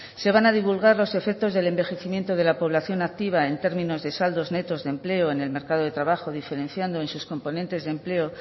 se van a divulgar los efectos del envejecimiento de la población activa en términos de saldos netos de empleo en el mercado de trabajo diferenciando en sus componentes de empleo